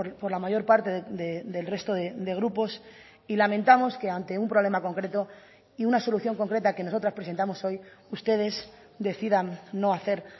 por la mayor parte del resto de grupos y lamentamos que ante un problema concreto y una solución concreta que nosotras presentamos hoy ustedes decidan no hacer